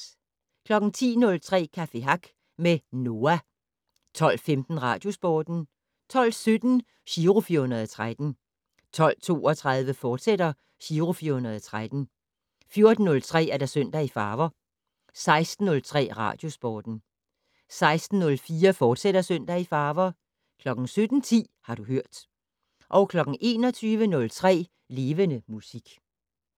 10:03: Café Hack med NOAH 12:15: Radiosporten 12:17: Giro 413 12:32: Giro 413, fortsat 14:03: Søndag i farver 16:03: Radiosporten 16:04: Søndag i farver, fortsat 17:10: Har du hørt 21:03: Levende Musik